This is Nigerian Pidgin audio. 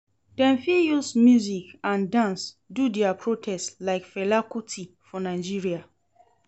Dem fit use music and dance do their protest like Fela kuti for Nigeria